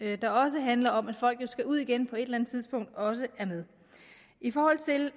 der også handler om at folk jo skal ud igen på et eller andet tidspunkt også er med i forhold til